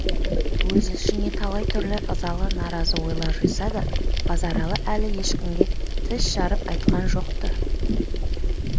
өз ішіне талай түрлі ызалы наразы ойлар жиса да базаралы әлі ешкімге тіс жарып айтқан жоқ-ты